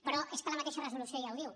però és que la mateixa resolució ja ho diu